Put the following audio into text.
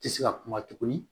Tɛ se ka kuma tuguni